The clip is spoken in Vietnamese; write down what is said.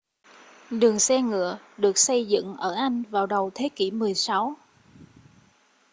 đường xe ngựa được xây dựng ở anh vào đầu thế kỷ 16